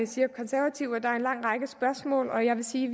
siger konservative at der er en lang række spørgsmål og jeg vil sige